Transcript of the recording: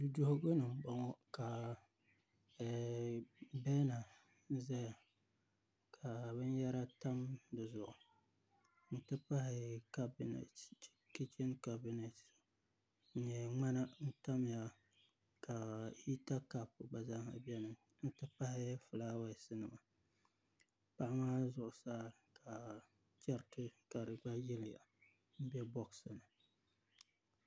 Duduɣugu ni n boŋo ka beena ʒɛya ka binyɛra tam di zuɣu n ti pahi kichin kabinɛt n nyɛ ŋmana n tamya ka hita kaap gna zaaha biɛni n tipahi fulaawaasi nima paɣa maa zuɣusaa ka chɛriti ka di gba yiliya n bɛ boos ni